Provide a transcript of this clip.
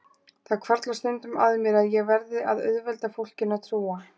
Það hvarflar stundum að mér að ég verði að auðvelda fólkinu að trúa